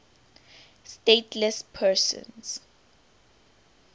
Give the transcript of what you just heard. stateless persons